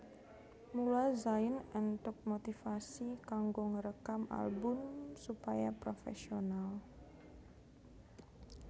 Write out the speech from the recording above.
Mula Zain entuk motivasi kanggo ngrekam album supaya profesional